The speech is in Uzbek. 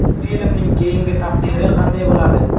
Filmning keyingi taqdiri qanday bo‘ladi?